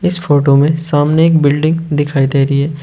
इस फोटो में सामने एक बिल्डिंग दिखाई दे रही है।